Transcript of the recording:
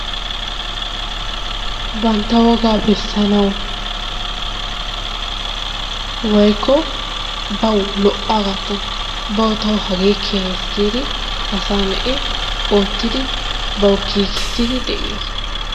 Bantta wogaa besanawu woikko bawu lo'aagattan bawu tawu hagee keehees giidi asaa na'i oottidi bawu giigissidi de'ees.